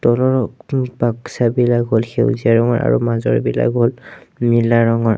বাক্সাবিলাক বিলাক হ'ল সেউজীয়া ৰঙৰ আৰু মাজৰবিলাক হ'ল নীলা ৰঙৰ।